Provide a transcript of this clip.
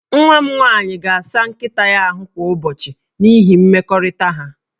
Nwa m nwaanyị ga-asa nkịta ya ahụ kwa ụbọchị n'ihi mmekọrịta ha